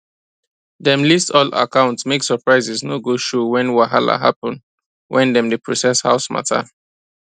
dem list all accounts make surprises no go show when whahala happen when dem dey process house matter